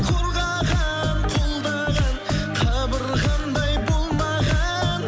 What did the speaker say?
қорғаған қолдаған қабырғамдай болмаған